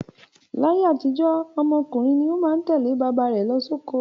Láyé àtijó, ọmọ ọkùnrin ni ó má ń tẹ̀lé bàbá rẹ̀ lọ sóko.